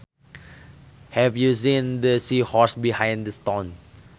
Have you seen the seahorse behind the stone